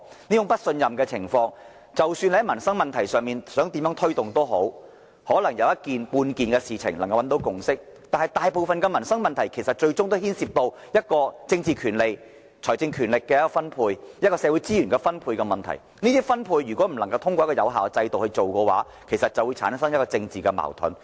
即使多麼想在民生問題上作出推動，可能有少數事情能找到共識，但當大部分民生問題都涉及政治權利、財政權力、社會資源的分配，而這些分配不能透過一個有效的制度進行時，便會產生政治矛盾。